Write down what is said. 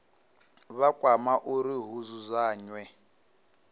vha kwama uri hu dzudzanywe